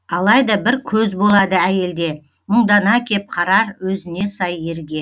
алайда бір көз болады әйелде мұңдана кеп қарар өзіне сай ерге